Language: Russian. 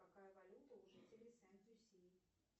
какая валюта у жителей сент люсии